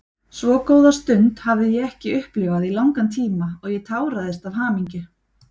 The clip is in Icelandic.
Svo góða stund hafði ég ekki upplifað í langan tíma og ég táraðist af hamingju.